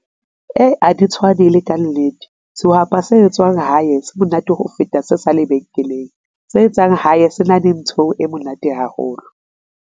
Ee, a di tshwane le ka nnete sehwapa se etswang hae se monate ho feta se sa lebenkeleng, se etsang hae se na le ntho e monate haholo.